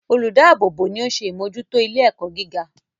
Olùdáàbò bò ni oún ṣe ìmójútó ilé ẹ̀kọ́ gíga